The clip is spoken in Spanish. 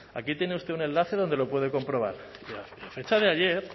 aquí tiene usted un enlace donde lo puede comprobar a fecha de ayer